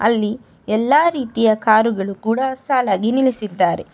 ಇಲ್ಲಿ ಎಲ್ಲಾ ರೀತಿಯ ಕಾರುಗಳು ಕೂಡ ಸಾಲಾಗಿ ನಿಲ್ಲಿಸಿದ್ದಾರೆ.